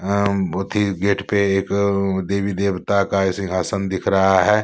अ बहुत ही गेट पे एक देवी देवता का सिंहासन दिख रहा है।